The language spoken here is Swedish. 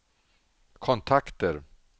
kontakter